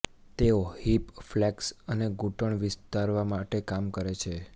તેઓ hip flex અને ઘૂંટણ વિસ્તારવા માટે કામ કરે છે